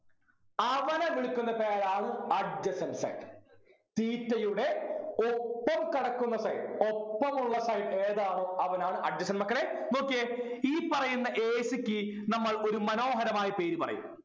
അവനെ വിളിക്കുന്ന പേരാണ് adjacent side theta യുടെ ഒപ്പം കിടക്കുന്ന side ഒപ്പമുള്ള side ഏതാണോ അവനാണ് adjacent മക്കളെ നോക്കിയേ ഈ പറയുന്ന A C ക്ക് നമ്മൾ ഒരു മനോഹരമായ പേര് പറയും